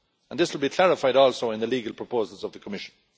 This would be clarified also in the legal proposals of the Commission.